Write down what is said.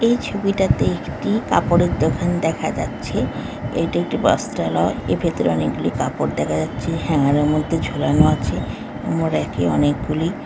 এই ছবিটাতে একটি কাপড়ের দোকান দেখা যাচ্ছে । এটি একটি বস্ত্রালয়এর ভেতরে অনেকগুলি কাপড় দেখা যাচ্ছে ।হ্যাঙ্গার -এর মধ্যে ঝুলানো আছে মোর এক এ অনেক গুলি--